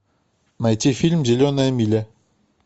найти фильм зеленая миля